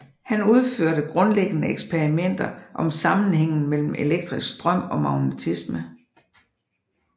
Han udførte grundlæggende eksperimenter om sammenhængen mellem elektrisk strøm og magnetisme